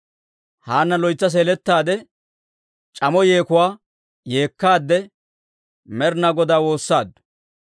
Haanna loytsa seeletaade, c'amo yeekuwaa yeekkaade Med'inaa Godaa woossaaddu.